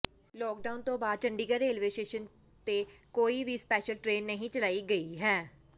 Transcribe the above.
lockdown ਤੋਂ ਬਾਅਦ Chandigarh railway station ਤੋਂ ਕੋਈ ਵੀ ਸਪੈਸ਼ਲ ਟਰੇਨ ਨਹੀਂ ਚਲਾਈ ਗਈ ਹੈ